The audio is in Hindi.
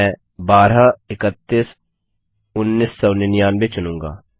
मैं 12 31 1999 चुनूँगा